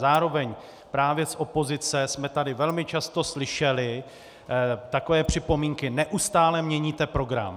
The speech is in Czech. Zároveň právě z opozice jsme tady velmi často slyšeli takové připomínky - neustále měníte program.